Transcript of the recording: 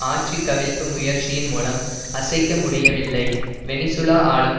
ஆட்சி கவிழ்ப்பு முயற்சியின் மூலம் அசைக்க முடியவில்லை வெனிசூலா ஆளும்